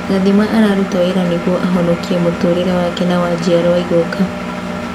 Gathima araruta wĩra nĩguo ahonokie mũtũrĩre wake na wa njiarwo igũka.